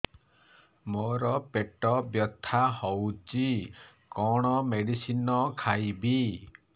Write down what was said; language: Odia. ମୋର ପେଟ ବ୍ୟଥା ହଉଚି କଣ ମେଡିସିନ ଖାଇବି